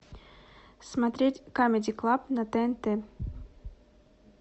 смотреть камеди клаб на тнт